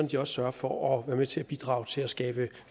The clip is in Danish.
de også sørger for at være med til at bidrage til at skabe